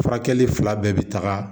Furakɛli fila bɛɛ bi taga